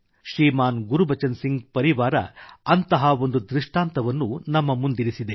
ಶ್ರೀಮಾನ್ ಗುರ್ಬಚನ್ ಸಿಂಘರ ಪರಿವಾರ ಅಂತಹ ಒಂದು ದೃಷ್ಟಾಂತವನ್ನು ಆದರ್ಶವನ್ನು ನಮ್ಮ ಮುಂದಿರಿಸಿದೆ